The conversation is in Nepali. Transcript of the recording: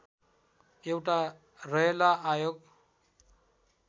एउटा रयला आयोग